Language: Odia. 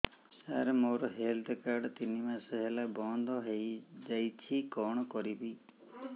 ସାର ମୋର ହେଲ୍ଥ କାର୍ଡ ତିନି ମାସ ହେଲା ବନ୍ଦ ହେଇଯାଇଛି କଣ କରିବି